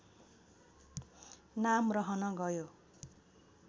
नाम रहन गयो